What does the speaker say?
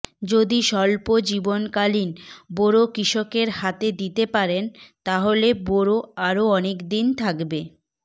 যদি স্বল্প জীবনকালীন বোরো কৃষকের হাতে দিতে পারেন তাহলে বোরো আরও অনেকদিন থাকবে